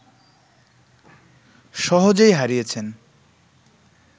সহজেই হারিয়েছেন